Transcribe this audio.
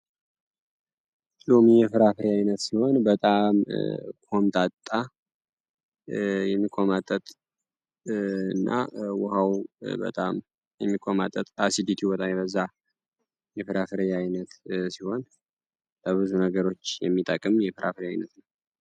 ሉሚ የፍራፍሬ ዓይነት ሲሆን በጣም ሆምጣጣ የሚቆማጠጥ እና ውሃው በጣም የሚቆማጠጥ እና ፋሲሊቲው በጣም የበዛ የፍራፍሬ ዓይነት ሲሆን ለብዙ ነገሮች የሚጠቅም የፍራፍሬ አይነት ነው።